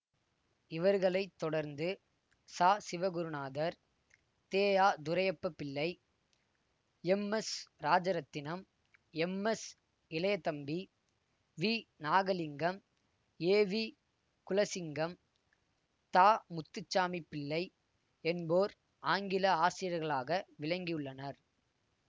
இவர்களை தொடர்ந்து சசிவகுருநாதர் தெஅதுரையப்பாபிள்ளை எம்எஸ்இராஜரத்தினம் எம்எஸ்இளையதம்பி விநாகலிங்கம் ஏவிகுலசிங்கம் தமுத்துசாமிப்பிள்ளை என்போர் ஆங்கில ஆசிரியர்களாக விளங்கியுள்ளனர்